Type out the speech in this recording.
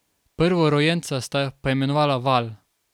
Prvorojenca sta poimenovala Val.